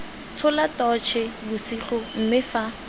tshola totšhe bosigo mme fa